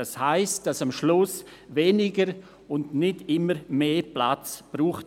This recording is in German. Das heisst, es wird schlussendlich weniger und nicht immer mehr Platz gebraucht.